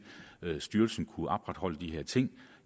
at styrelsen kunne opretholde de her ting